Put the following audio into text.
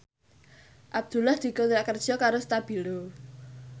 Abdullah dikontrak kerja karo Stabilo